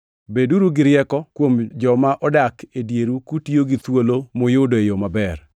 Beduru gi rieko kuom joma odak e dieru kutiyo gi thuolo muyudo e yo maber.